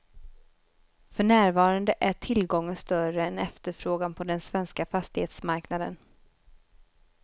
För närvarande är tillgången större än efterfrågan på den svenska fastighetsmarknaden.